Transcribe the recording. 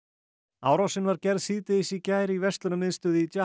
árásin var gerð síðdegis í gær í verslunarmiðstöð í